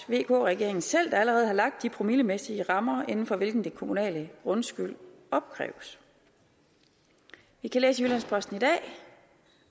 vk regeringen selv der allerede har lagt de promillemæssige rammer inden for hvilke den kommunale grundskyld opkræves vi kan læse i jyllands posten i dag